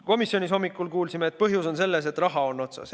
Komisjonis me hommikul kuulsime, et põhjus on selles, et raha on otsas.